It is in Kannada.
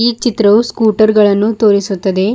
ಈ ಚಿತ್ರವು ಸ್ಕುಟರ್ ಗಳನ್ನು ತೋರಿಸುತ್ತದೆ.